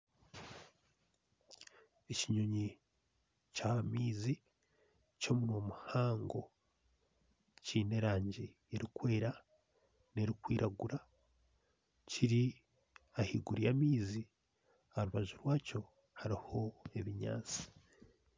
Ekinyonyi kyaha maizi kyomunwa muhango kiine erangi erikwera nerikwiragura kiri ahaiguru yamaizi aharubaju rwakyo hariho ebinyatsi